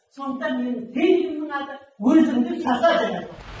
сондықтан менің гимнімнің аты өзінді жаса деп